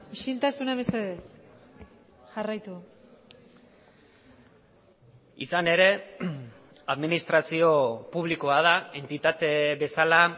isiltasuna mesedez jarraitu izan ere administrazio publikoa da entitate bezala